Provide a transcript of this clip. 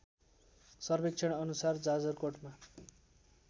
सर्वेक्षण अनुसार जाजरकोटमा